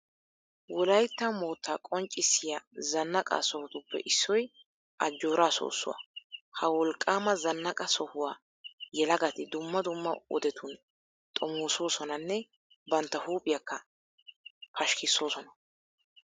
Wolaytta moottaa qonccissiya zannaqa sohotuppe issoy ajjooraa soossuwa. Ha wolqqaama zannaqa sohuwa yelagati dumma dumma wodetun xomoosoosonanne bantta huuphiyakka pashikkissoosona.